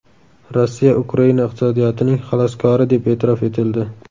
Rossiya Ukraina iqtisodiyotining xaloskori deb e’tirof etildi.